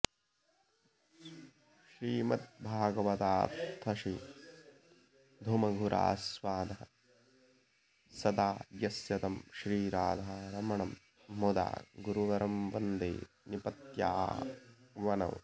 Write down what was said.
श्रीमद्भागवतार्थसीधुमधुरास्वादः सदा यस्य तं श्रीराधारमणं मुदा गुरुवरं वन्दे निपत्यावनौ